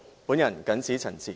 我謹此陳辭。